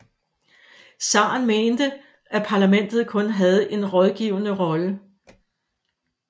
Zaren mente at parlamentet kun havde en rådgivende rolle